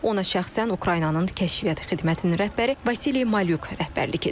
Ona şəxsən Ukraynanın Kəşfiyyat Xidmətinin rəhbəri Vasili Malyuk rəhbərlik edib.